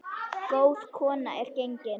Góð kona er gengin.